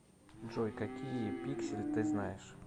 джой какие пиксель ты знаешь